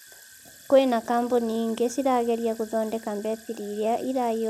Kwĩna kambunĩ ingĩ cirageria gũthodeka mbetiri irĩa ĩraĩhũra mwaki haraka